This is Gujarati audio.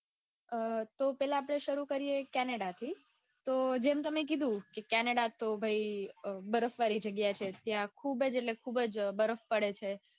અ તો પેલા આપડે શરુ કરીયે કેનેડાથી તો ભાઈ જેમ તમે કીધું ત્યાં બરફવાળી જગ્યા છે ખુબ જ એટલે ખુબ જ બરફ પડે છે.